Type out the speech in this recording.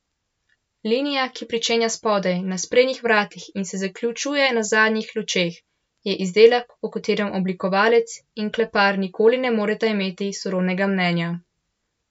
Linija, ki pričenja spodaj na sprednjih vratih in se zaključuje na zadnjih lučeh, je izdelek, o katerem oblikovalec in klepar nikoli ne moreta imeti sorodnega mnenja.